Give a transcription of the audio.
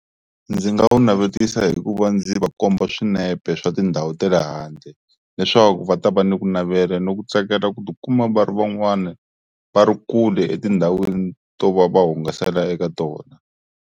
Ndzi nga wu navetisa hi ku va ndzi va komba swinepe swa tindhawu ta le handle leswaku va ta va ni ku navela ni ku tsakela ku tikuma va ri van'wani va ri kule etindhawini to va va hungasela eka tona.